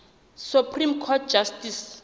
supreme court justice